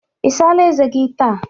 I sala eze gị taa?